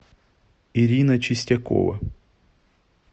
ирина чистякова